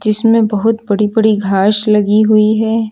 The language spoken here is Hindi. इसमें बहुत बड़ी बड़ी घाश लगी हुई है।